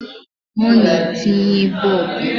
Ọ na-etinye Boobu